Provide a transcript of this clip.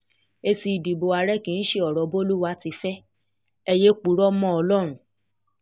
èsì ìdìbò àárẹ̀ kì í ṣe ọ̀rọ̀ bolúwa ti fẹ́ ẹ yéé purọ́ mọ́ ọlọ́run